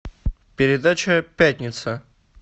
передача пятница